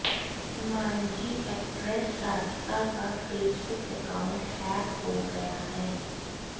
Manjhi actress Radhika का Facebook account hack हो गया है